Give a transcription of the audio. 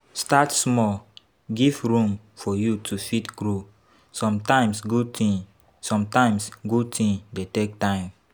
Start small, give room for you to fit grow, sometimes good thing sometimes good thing dey take time